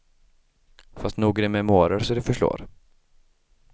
Fast nog är det memoarer så det förslår.